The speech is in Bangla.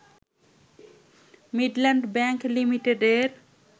মিডল্যান্ড ব্যাংক লিমিটেডের